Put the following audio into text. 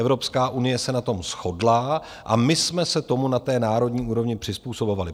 Evropská unie se na tom shodla a my jsme se tomu na té národní úrovni přizpůsobovali.